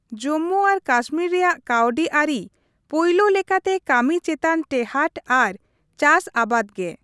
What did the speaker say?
ᱡᱚᱢᱢᱩ ᱟᱨ ᱠᱟᱥᱢᱤᱨ ᱨᱮᱭᱟᱜ ᱠᱟᱹᱣᱰᱤ ᱟᱹᱨᱤ ᱯᱳᱭᱞᱳ ᱞᱮᱠᱟᱛᱮ ᱠᱟᱹᱢᱤ ᱪᱮᱛᱟᱱ ᱴᱮᱸᱦᱟᱴ ᱟᱨ ᱪᱟᱥ ᱟᱵᱟᱫ ᱜᱮ ᱾